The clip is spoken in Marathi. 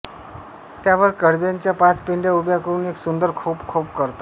त्यावर कडब्याच्या पाच पेंढ्या उभ्या करून एक सुंदर खोप कोप करतात